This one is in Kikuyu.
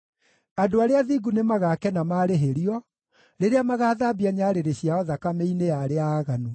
Andũ arĩa athingu nĩmagakena maarĩhĩrio, rĩrĩa magathambia nyarĩrĩ ciao thakame-inĩ ya arĩa aaganu.